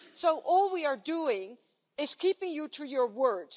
So all we are doing is keeping you to your word.